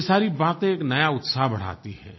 ये सारी बातें एक नया उत्साह बढ़ाती हैं